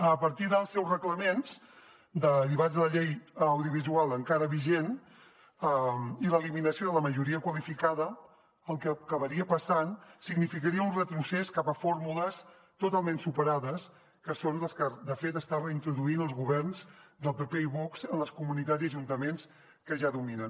a partir dels seus reglaments derivats de la llei audiovisual encara vigent i l’eliminació de la majoria qualificada el que acabaria passant significaria un retrocés cap a fórmules totalment superades que són les que de fet estan reintroduint els governs del pp i vox en les comunitats i ajuntaments que ja dominen